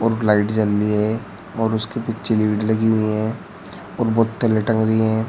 Light जल रही है और उसके पीछे लीड लगी हुई हैं और बोतल लटक रही हैं।